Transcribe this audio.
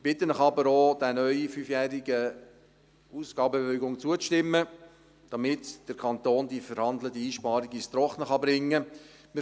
Ich bitte Sie aber, auch dieser neu fünfjährigen Ausgabenbewilligung zuzustimmen, damit der Kanton die verhandelte Einsparung ans Trockene bringen kann.